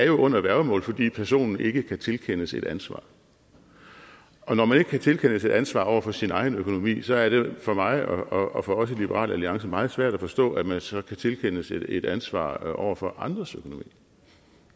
under værgemål fordi personen ikke kan tilkendes et ansvar og når man ikke kan tilkendes et ansvar over for sin egen økonomi så er det for mig og for os i liberal alliance meget svært at forstå at man så kan tilkendes et ansvar over for andres økonomi